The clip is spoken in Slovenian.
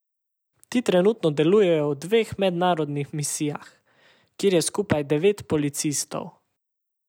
Ti trenutno delujejo v dveh mednarodnih misijah, kjer je skupaj devet policistov.